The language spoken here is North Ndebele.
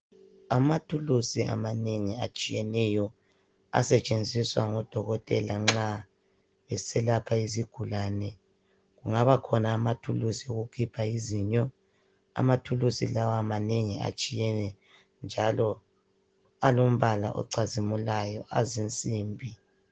Amathulusi amanengi atshiyeneyo asetsenziswa ngodokotela nxa beselapha izigulane angaba khona amathulusi awokukhipha izinyo amathulusi lawa manengi atshiyeneyo njalo alombala ocazimulayo azinsimbi.